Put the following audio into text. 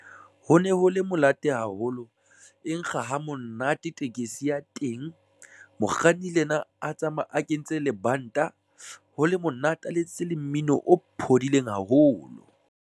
Ho ne ho le monate haholo e nkga ha monate tekesi ya teng mokganni le ena a tsamaye a kentse lebanta ho le monate, o letsitse le mmino o phodileng haholo.